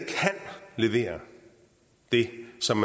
levere det som